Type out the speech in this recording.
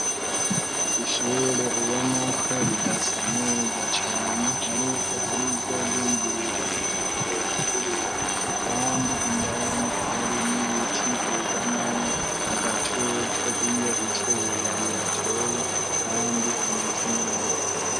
Ishure ubona ko ridasa neza cane ariko ari iry'ubwinjiriro mw'aho winjirira kandi indani hari n'ibiti bugamamwo agatutu iyo izuba ribateye kandi hameze neza.